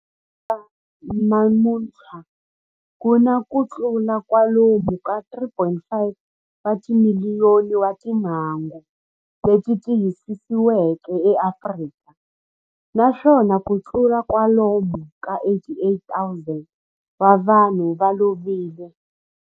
Ku fika namuntlha ku na kutlula kwalomu ka 3.5 wa timiliyoni wa timhangu leti tiyisisiweke eAfrika, naswona kutlula kwalomu ka 88,000 wa vanhu va lovile.